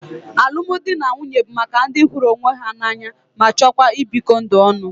Alụmdi na nwunye bụ maka ndị hụrụ onwe ha n'anya ma chọọ ibikọ ndụ ọnụ.